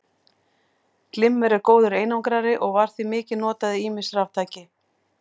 Glimmer er góður einangrari og var því mikið notað í ýmis raftæki.